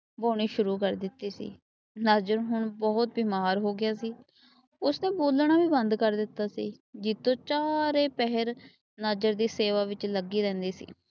ਵਾਹੁਣੀ ਸ਼ੁਰੂ ਕਰ ਦਿੱਤੀ ਸੀ। ਨਜ਼ਰ ਹੁਣ ਬਹੁਤ ਬਿਮਾਰ ਹੋ ਗਿਆ ਸੀ। ਉਸਨੇ ਬੋਲਣਾ ਵੀ ਬੰਦ ਕਰ ਦਿੱਤਾ ਸੀ। ਜੀਤੋ ਚਾਰੋ ਪਹਿਰ ਨਾਜਰ ਦੀ ਸੇਵਾ ਵਿੱਚ ਲੱਗੀ ਰਹਿੰਦੀ ਸੀ।